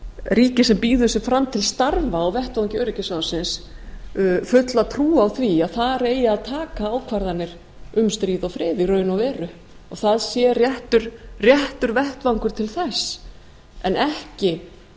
ríki sem býður sig fram til starfa á vettvangi öryggisráðinu fulla trú á því að þar eigi að taka ákvarðanir um stríð og frið í raun og veru og það sé réttur vettvangur til þess en ekki